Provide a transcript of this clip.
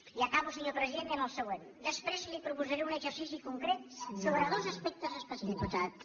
i acabo senyor president dient el següent després li proposaré un exercici concret sobre dos aspectes específics